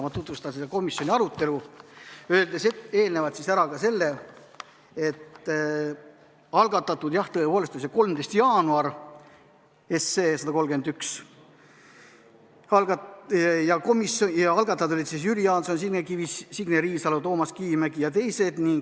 Ma tutvustan seda komisjoni arutelu, öeldes eelnevalt ära ka selle, et algatati, jah, eelnõu 131 tõepoolest 13. jaanuaril ja algatajad olid Jüri Jaanson, Signe Kivi, Signe Riisalo, Toomas Kivimägi jt.